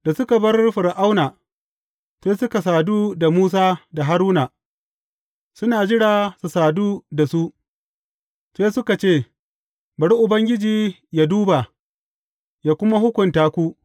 Da suka bar Fir’auna, sai suka sadu da Musa da Haruna suna jira su sadu da su, sai suka ce, Bari Ubangiji yă duba, yă kuma hukunta ku!